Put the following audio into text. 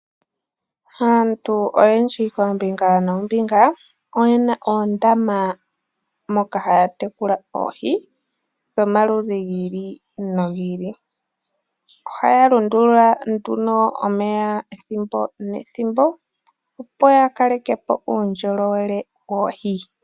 Aantu oyendji oombinga noonmbinga oyena oondama moka haya tekula oohi dho maludhi gi ili no gi ili. Ohaya lundulula nduno omeya ethimbo ne ethimbo opo ya kalekepo uundjolowele woohi.